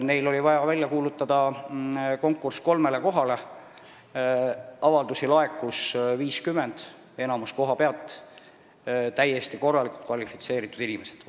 Neil oli vaja kuulutada välja konkurss kolme koha täitmiseks, laekus 50 avaldust ja enamik neist kohapealt – täiesti kvalifitseeritud inimestelt.